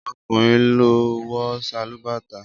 Ọkùnrin ló ń wọ sálúbàtà